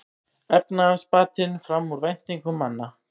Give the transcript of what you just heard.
Efnahagsbatinn fram úr væntingum manna